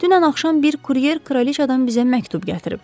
Dünən axşam bir kuryer kraliçadan bizə məktub gətirib.